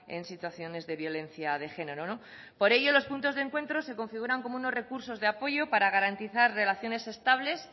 en situaciones de violencia de género por ello los puntos de encuentro se configuran como unos recursos de apoyo para garantizar relaciones estables